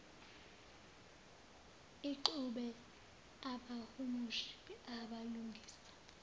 ixube abahumushi abalungisa